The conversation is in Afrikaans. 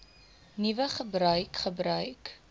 nuwe gebruik gebruik